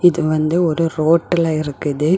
இது வந்து ஒரு ரோட்டுல இருக்குது.